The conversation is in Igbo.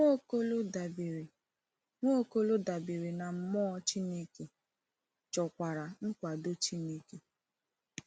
Nwaokolo dabere Nwaokolo dabere na mmụọ Chineke, chọkwara nkwado Chineke.